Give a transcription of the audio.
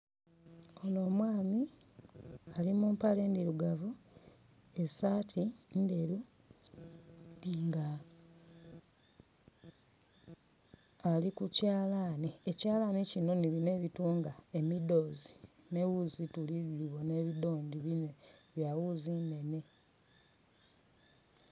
Oho omwami ali mu mpale ndirugavu, esaati nderu, nga ali ku kyalani. Ekyalaani nibino ebitunga emidoozi, neghuzi tuli bona ebidondi bya ghuuzi nnhenhe.